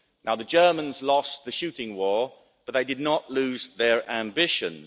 Now the Germans lost the shooting war but they did not lose their ambitions.